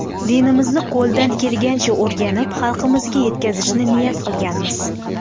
Dinimizni qo‘ldan kelgancha o‘rganib, xalqimizga yetkazishni niyat qilganmiz.